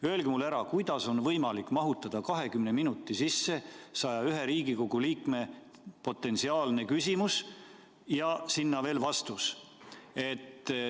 Öelge mulle, kuidas on võimalik mahutada 20 minuti sisse 101 Riigikogu liikme potentsiaalne küsimus ja sinna veel vastus?